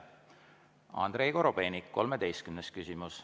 Andrei Korobeinik, 13. küsimus.